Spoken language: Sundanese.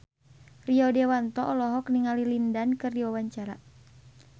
Rio Dewanto olohok ningali Lin Dan keur diwawancara